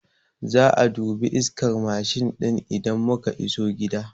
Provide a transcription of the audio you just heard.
Za'a dubi iskar Mashin ɗin idan muka iso gida